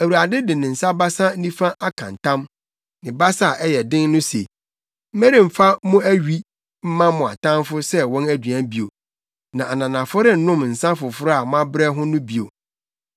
Awurade de ne basa nifa aka ntam ne basa a ɛyɛ den no se, “Meremfa mo awi mma mo atamfo sɛ wɔn aduan bio, na ananafo rennom nsa foforo a moabrɛ ho no bio;